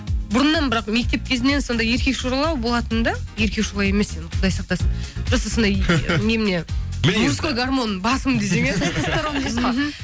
бұрыннан бірақ мектеп кезімнен сондай еркекшоралау болатынмын да еркекшола емес енді құдай сақтасын просто сондай немене мужской гормон басым десең иә